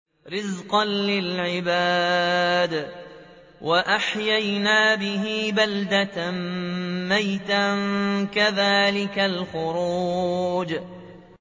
رِّزْقًا لِّلْعِبَادِ ۖ وَأَحْيَيْنَا بِهِ بَلْدَةً مَّيْتًا ۚ كَذَٰلِكَ الْخُرُوجُ